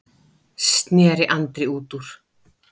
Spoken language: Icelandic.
sneri Andri út úr.